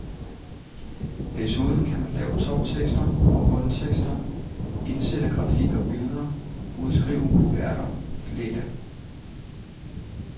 Desuden kan man lave toptekster og bundtekster, indsætte grafik og billeder, udskrive kuverter, flette.